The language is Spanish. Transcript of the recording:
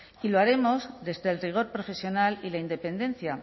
y lo haremos desde el rigor profesional y la independencia